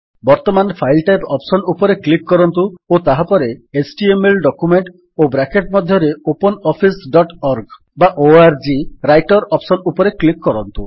ବର୍ତ୍ତମାନ file type option ଉପରେ click କରନ୍ତୁ ଓ ତାହାପରେ ଏଚଟିଏମଏଲ ଡକ୍ୟୁମେଣ୍ଟ୍ ଓ ବ୍ରାକେଟ୍ ମଧ୍ୟରେ open office dot org writer option ଉପରେ କ୍ଲିକ୍ କରନ୍ତୁ